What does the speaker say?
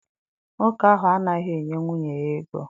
Nwoke ahụ anaghị enye nwunye ya ego.